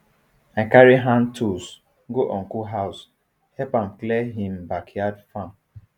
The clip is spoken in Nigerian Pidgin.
i carry hand tools go uncle house help am clear him backyard farm